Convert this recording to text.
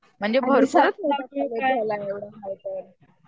म्हणजे